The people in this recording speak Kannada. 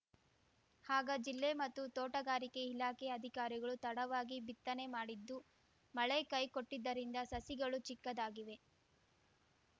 ಆಗ ಜಿಲ್ಲೆ ಮತ್ತು ತೋಟಗಾರಿಕೆ ಇಲಾಖೆಯ ಅಧಿಕಾರಿಗಳು ತಡವಾಗಿ ಬಿತ್ತನೆ ಮಾಡಿದ್ದು ಮಳೆ ಕೈಕೊಟ್ಟಿದ್ದರಿಂದ ಸಸಿಗಳು ಚಿಕ್ಕದಾಗಿವೆ